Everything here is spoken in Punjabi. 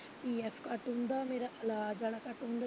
PH ਘੱਟ ਹੁੰਦਾ ਮੇਰਾ ਇਲਾਜ ਆਲਾ ਘੱਟ ਹੁੰਦਾ।